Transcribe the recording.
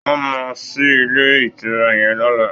Wọn máa ṣí ilé ìtura yẹn lọ́la